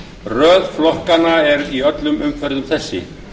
röð flokkanna er í öllum umferðum þessi